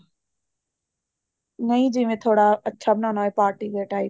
ਨਹੀਂ ਜਿਵੇਂ ਥੋੜਾ ਅੱਛਾ ਬਣਾਉਣਾ ਹੋਵੇ party wear time